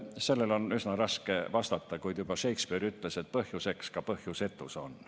Sellele on üsna raske vastata, kuid juba Shakespeare ütles, et põhjuseks ka põhjusetus on.